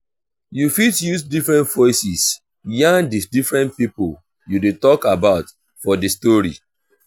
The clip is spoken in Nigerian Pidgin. you fit use different voices yarn di different pipo you de talk about for di story